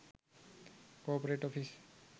corporate office